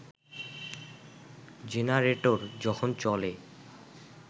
generator যখন চলে